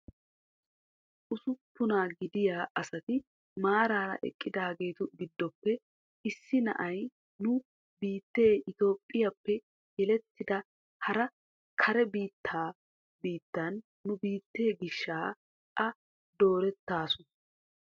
Usuppunaa gidiyaa asati maarara eqqidaagetu gidoppe issi na'iyaa nu biittee itophphiyaappe yelettada hara kare biittaa biittan nu biittee giishshaa a doorettaasu.